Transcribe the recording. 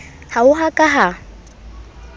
ha ho a ka ha